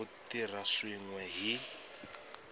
ku tirha swin we hi